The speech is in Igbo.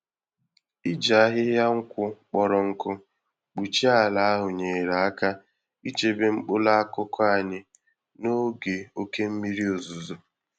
Iji ahịhịa-nkwụ kpọrọ nkụ kpuchie ala ahụ nyere aka ichebe mkpụrụ akụkụ anyị n'oge oké mmiri ozuzo.